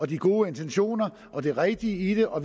de gode intentioner og det rigtige i det og